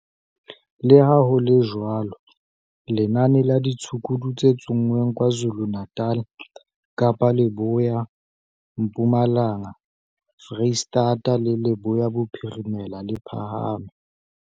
Leha ho le jwalo, lenane la ditshukudu tse tsonngweng KwaZulu-Natal, Kapa Leboya, Mpumalanga, Freistata le Leboya Bophirimela, le phahame.